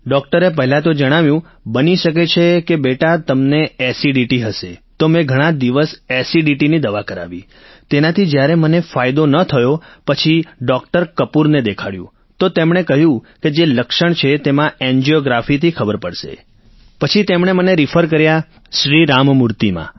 ડોક્ટરે પહેલા તો જણાવ્યું બની શકે છે કે બેટા તમને એસિડીટી હશે તો મેં ઘણાં દિવસ એસિડીટીની દવા કરાવી તેનાથી જ્યારે મને ફાયદો ન થયો પછી ડોક્ટર કપૂરને દેખાડ્યું તો તેમણે કહ્યું જે લક્ષણ છે તેમાં એન્જિયોગ્રાફીથી ખબર પડશે પછી તેમણે મને રિફર કર્યા શ્રી રામમૂર્તિમાં